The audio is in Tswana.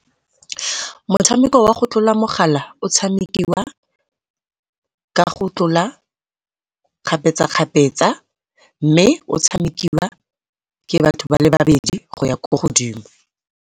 Motshameko wa go tlola mogala o tshamikiwa ka go tlola kgapetsa-kgapetsa, mme o tshamekiwa ke batho ba le babedi go ya ko godimo.